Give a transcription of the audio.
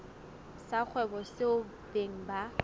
sa kgwebo seo beng ba